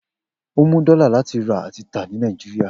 O mu dola lati ra ati ta ni Niajiria.